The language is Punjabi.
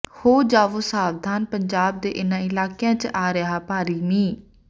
ਹੋ ਜਾਵੋ ਸਾਵਧਾਨ ਪੰਜਾਬ ਦੇ ਇਹਨਾਂ ਇਲਾਕਿਆਂ ਚ ਆ ਰਿਹਾ ਭਾਰੀ ਮੀਂਹ